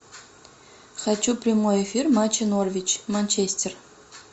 хочу прямой эфир матча норвич манчестер